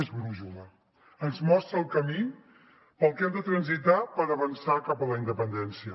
és brúixola ens mostra el camí pel que hem de transitar per avançar cap a la independència